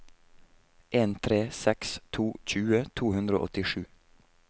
en tre seks to tjue to hundre og åttisju